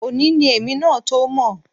Òní ni èmi náà tó mọ̀